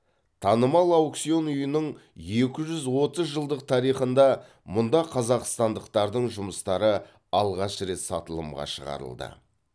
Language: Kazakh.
танымал аукцион үйінің екі жүз отыз жылдық тарихында мұнда қазақстандықтардың жұмыстары алғаш рет сатылымға шығарылды